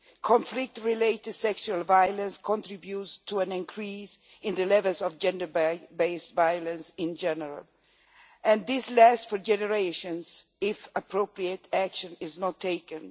Conflict-related sexual violence contributes to an increase in the levels of gender-based violence in general, and this lasts for generations if appropriate action is not taken.